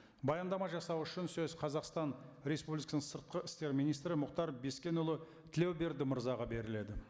баяндама жасау үшін сөз қазақстан республикасының сыртқы істер министрі мұхтар бескенұлы тлеуберді мырзаға беріледі